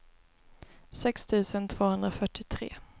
sex tusen tvåhundrafyrtiotre